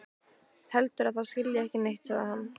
Heldur að það skilji ekki neitt, sagði hann.